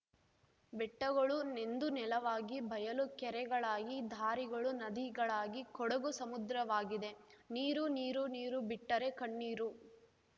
ಬೆಟ್ಟಗಳು ನೆಂದು ನೆಲವಾಗಿ ಬಯಲು ಕೆರೆಗಳಾಗಿ ದಾರಿಗಳು ನದಿಗಳಾಗಿ ಕೊಡಗು ಸಮುದ್ರವಾಗಿದೆ ನೀರು ನೀರು ನೀರು ಬಿಟ್ಟರೆ ಕಣ್ಣೀರು